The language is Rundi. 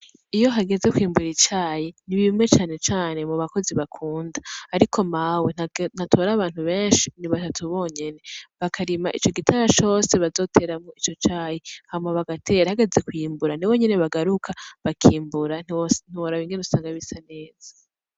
Iyo hageze kw'imbura icayi ni bimwe canecane mub'abakozi bakunda ariko Mawe ntatora abantu benshi ni batatu bonyene, bakarima ico gitara cose bazoteramwo ico cayi, hama bagatera, hageze kw'imbura nibo nyene bagaruka bakimbura ntiworaba ingene usanga bisa neza.